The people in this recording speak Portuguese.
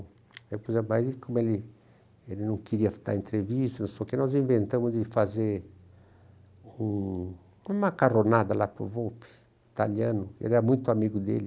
Aí puis a, como ele ele não queria dar entrevista, não sei o quê, nós inventamos de fazer um uma macarronada lá para o Volpi, italiano, ele era muito amigo dele.